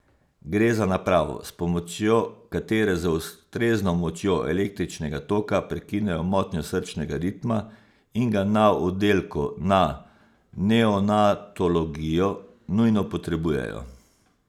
Gre za napravo, s pomočjo katere z ustrezno močjo električnega toka prekinejo motnjo srčnega ritma in ga na oddelku na neonatologijo nujno potrebujejo.